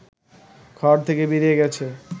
ঘর থেকে বেরিয়ে গেছে